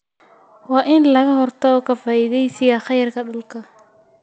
Waa in laga hortago ka faa�iidaysiga kheyraadka dhulka.